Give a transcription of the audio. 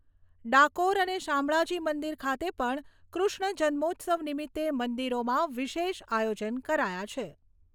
ડાકોર અને શામળાજી મંદિર ખાતે પણ કૃષ્ણ જન્મોત્સવ નિમિત્તે મંદિરોમાં વિશેષ આયોજન કરાયા છે.